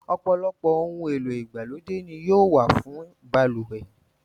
Ọ̀pọ̀lọpọ̀ ohun èlò ìgbàlódé ni yóò wà fún balùwẹ̀.